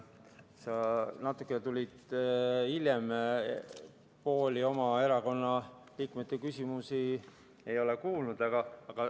Sa tulid natukene hiljem, pooli oma erakonna liikmete küsimusi sa ei ole kuulnud.